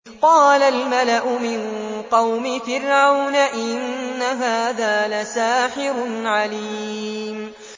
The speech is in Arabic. قَالَ الْمَلَأُ مِن قَوْمِ فِرْعَوْنَ إِنَّ هَٰذَا لَسَاحِرٌ عَلِيمٌ